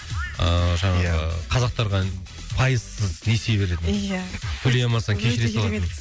ыыы ия жаңағы қазақтарға пайызсыз несие береді ия төлей алмасаң кешіре салады өте керемет